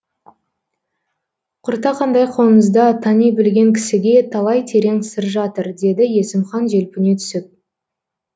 құртақандай қоңызда тани білген кісіге талай терең сыр жатыр деді есімхан желпіне түсіп